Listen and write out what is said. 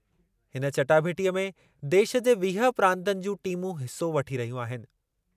हिन चटाभेटीअ में देशु जे वीह प्रांतनि जूं टीमूं हिसो वठी रहियूं आहिनि।